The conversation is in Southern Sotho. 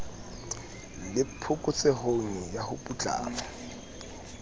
le phokotsehong ya ho putlama